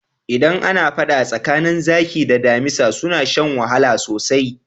Idan ana faɗa tsakanin zaki da damisa suna shan wahala sosai.